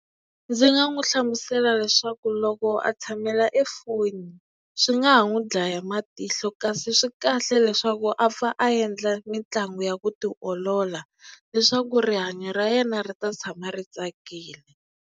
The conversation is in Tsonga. ndzi nga n'wi hlamusela leswaku loko a tshamela e foni swi nga ha n'wi dlaya matihlo kasi swi kahle leswaku a pfa a endla mitlangu ya ku tiolola leswaku rihanyo ra yena ri ta tshama ri tsakile.